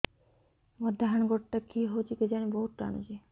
ମୋର୍ ଡାହାଣ୍ ଗୋଡ଼ଟା କି ହଉଚି କେଜାଣେ ବହୁତ୍ ଟାଣୁଛି